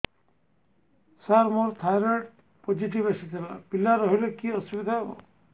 ସାର ମୋର thyroid positive ଆସିଥିଲା ପିଲା ରହିଲେ କି ଅସୁବିଧା ହେବ